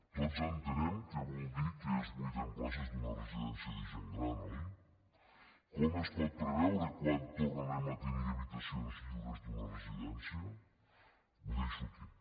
tots entenem què vol dir que es buiden places d’una residencia de gent gran oi com es pot preveure quan tornarem a tenir habitacions lliures d’una residència ho deixo aquí